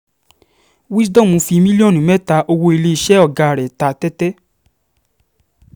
wisdom fi mílíọ̀nù mẹ́ta owó iléeṣẹ́ ọ̀gá rẹ̀ ta tẹ́tẹ́